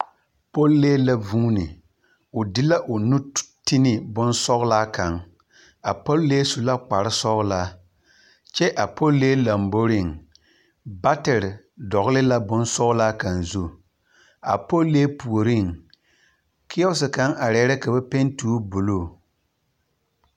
Pɔllee la vuuni, o de la o nu ti ne bonsɔglaa kaŋ. A pɔllee su la kparesɔgelaa, kyɛ a pɔllee lamboriŋ batere dɔgele la bonsgelaa kaŋ zu. A pɔllee puoriŋ. Keɛos kaŋ arɛɛ la ka ba penti o buluu.